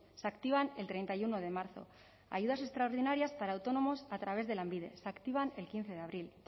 se activan el treinta y uno de marzo ayudas extraordinarias para autónomos a través de lanbide se activan el quince de abril